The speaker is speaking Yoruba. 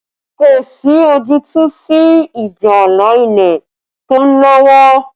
Kò sí ojútùú sí ìjà ààlà ilẹ̀ tó ń lọ́wọ́